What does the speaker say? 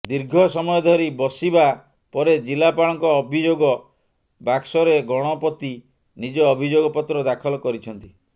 ଦୀର୍ଘ ସମୟ ଧରି ବସିବା ପରେ ଜିଲ୍ଲାପାଳଙ୍କ ଅଭିଯୋଗ ବାକ୍ସରେ ଗଣପତି ନିଜ ଅଭିଯୋଗ ପତ୍ର ଦାଖଲ କରିଛନ୍ତି